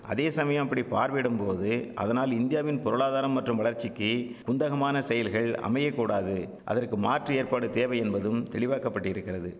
அதேசமயம் அப்படி பார்வையிடும் போது அதனால் இந்தியாவின் பொருளாதாரம் மற்றும் வளர்ச்சிக்கி குந்தகமான செயல்கள் அமையக்கூடாது அதற்கு மாற்று ஏற்பாடு தேவை என்பதும் தெளிவாக்கப்பட்டிருக்கிறது